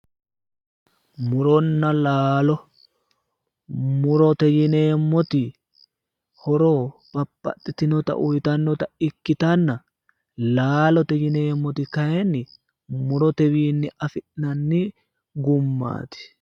Muronna laalo, murote yineemmoti horo babbaxxitinota uytannota ikkitanna, laalote yineemmoti kayiinni mutotewiinni afi'nanni gummaati.